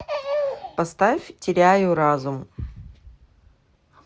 поставь теряю разум